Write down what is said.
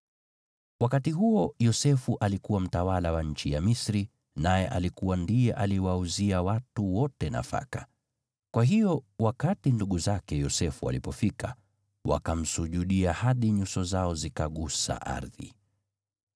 Wakati huo Yosefu alikuwa mtawala wa nchi ya Misri, naye alikuwa ndiye aliwauzia watu wote nafaka. Kwa hiyo wakati ndugu zake Yosefu walipofika, wakamsujudia hadi nyuso zao zikagusa ardhi.